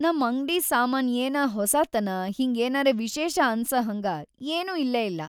ನಮ್‌ ಅಂಗ್ಡಿ ಸಾಮಾನ್‌ ಏನಾ ಹೊಸಾತನಾ ಹಿಂಗ್ ಏನರೆ ವಿಶೇಷ ಅನ್ಸಹಂಗ ಏನೂ ಇಲ್ಲೇಇಲ್ಲಾ.